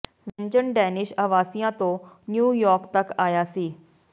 ਵਿਅੰਜਨ ਡੈਨਿਸ਼ ਆਵਾਸੀਆਂ ਤੋਂ ਨਿਊ ਯਾਰਕ ਤੱਕ ਆਇਆ ਸੀ